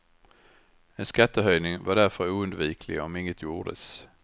En skattehöjning var därför oundviklig om inget gjordes.